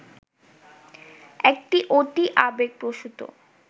একটি অতি আবেগপ্রসূত